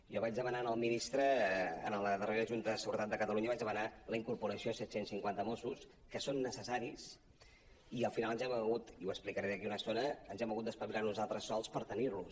jo vaig demanar al ministre a la darrera junta de seguretat de catalunya la incorporació de set cents i cinquanta mossos que són necessaris i al final ens hem hagut i ho explicaré d’aquí una estona d’espavilar nosaltres sols per tenir·los